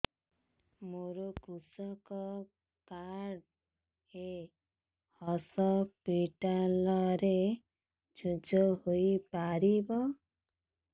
ମୋର କୃଷକ କାର୍ଡ ଏ ହସପିଟାଲ ରେ ୟୁଜ଼ ହୋଇପାରିବ